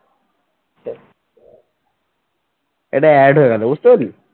এইটা Ads হয়ে গেল বুঝতে পারলি।